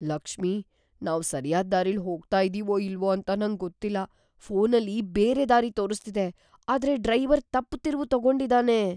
ಲಕ್ಷ್ಮಿ, ನಾವ್ ಸರ್ಯಾದ್ ದಾರಿಲಿ ಹೋಗ್ತಾ ಇದೀವೋ ಇಲ್ವೋ ಅಂತ ನಂಗೊತ್ತಿಲ್ಲ. ಫೋನಲ್ಲಿ ಬೇರೆ ದಾರಿ ತೋರಿಸ್ತಿದೆ, ಆದ್ರೆ ಡ್ರೈವರ್ ತಪ್ಪು ತಿರುವು ತಗೊಂಡಿದಾನೆ.